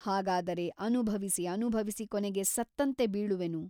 ಹಾಗಾದರೆ ಅನುಭವಿಸಿ ಅನುಭವಿಸಿ ಕೊನೆಗೆ ಸತ್ತಂತೆ ಬೀಳುವನು.